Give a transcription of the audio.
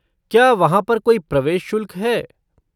क्या वहाँ पर कोई प्रवेश शुल्क है?